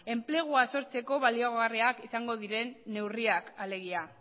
enplegua sortzeko baliagarriak izango diren neurriak alegia